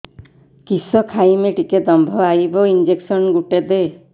କିସ ଖାଇମି ଟିକେ ଦମ୍ଭ ଆଇବ ଇଞ୍ଜେକସନ ଗୁଟେ ଦେ